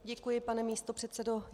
Děkuji, pane místopředsedo.